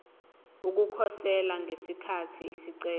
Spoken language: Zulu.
ukukhosela ngesikhathi isicelo